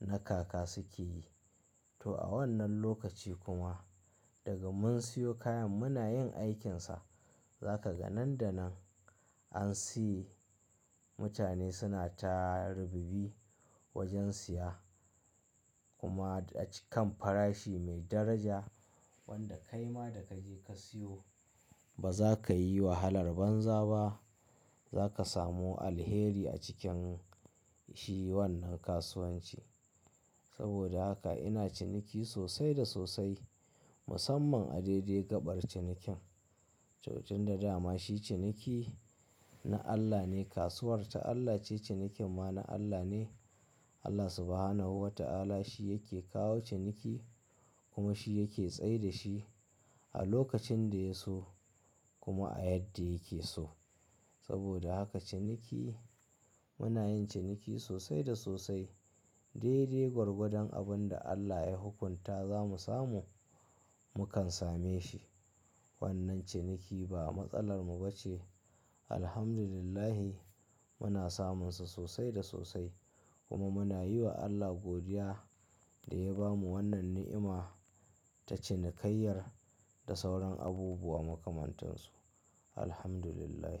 na kaka suke yi. To a wannan lokaci kuma daga mun siyo kayan muna yin aikinsa. Zaka ga nan da nan an siye, mutane suna ta rubibi wajan siya kuma a ci, kan farashi mai daraja wanda kai ma da ka je ka siyo ba zaka yi wahalar banza ba. Zaka samu alheri a cikin shi wannan kasuwanci. Saboda haka ina ciniki sosai da sosai musamman a daidai gaɓar cinikin. Tunda dama shi ciniki na Allah ne kasuwarta Allah ce cinikin ma na Allah ne. Allah Subhanahu wa ta'ala shi yake kawo ciniki kuma shi yake tsaida shi a lokacin da ya so kuma a yadda yake so. Saboda haka ciniki muna yin ciniki sosai da sosai. Daidai gwargwadon abin da Allah ya hukunta za mu samu, mu kan same shi. Wannan ciniki ba matsalar mu bace. Alhamdulillah muna samunsa sosai da sosai kuma muna yi wa Allah godiya da ya bamu wannan ni'ima ta cinikayyar da sauran abubuwa makamantansu. Alhamdulillah.